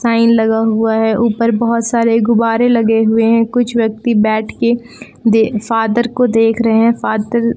fan लगा हुआ है ऊपर बहुत सारे गुब्बारे लगे हुए हैं कुछ व्यक्ति बैठ के फादर को देख रहे हैं फादर --